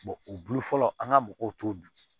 o bulu fɔlɔ an ka mɔgɔw t'o dun